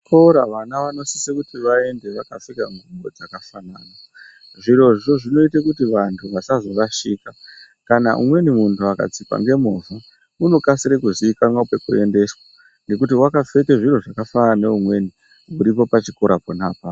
Kuchikora vana vanosisa kuti vaende vakapfeka zvidxoko zvakafanana. Zvirozvo zvinoite kuti vantu vasazorashika. Kana umweni munhu akatsikwa ngemovha unokasire kuziikanwa kwekuendeswa ngekuti wakapfeka zviro zvakafanana neumweni uripo pachikora pona apapo.